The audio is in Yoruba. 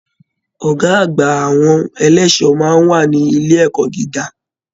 Ọgá àgbà àwọn ẹlẹṣọ máa n wà ní ilé ẹ̀kọ́ gíga.